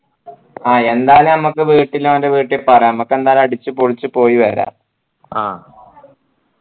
ആ എന്താന്ന് ഞമ്മക്ക് വീട്ടില് ഓൻ്റെ വീട്ടില് പറയാ ഞമ്മക്കെന്തായാലും അടിച്ച് പൊളിച്ച് പോയിവര ആ